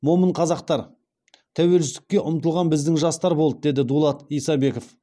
момын қазақтар тәуелсіздікке ұмтылған біздің жастар болды деді дулат исабеков